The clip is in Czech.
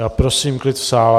Já prosím klid v sále.